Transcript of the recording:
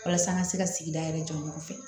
Walasa an ka se ka sigida yɛrɛ jɔyɔrɔ fɛ